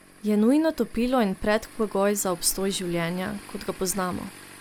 Je nujno topilo in predpogoj za obstoj življenja, kot ga poznamo.